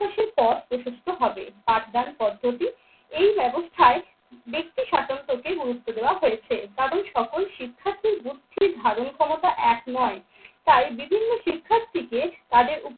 প্রকাশের পথ প্রশস্ত হবে। আড্ডার পদ্ধতি এই ব্যবস্থায় ব্যাক্তি স্বাতন্ত্র্যকে গুরুত্ব দেওয়া হয়েছে কারণ সকল শিক্ষার্থীর বুদ্ধি ধারণ ক্ষমতা এক নয়। তাই বিভিন্ন শিক্ষার্থীকে তাদের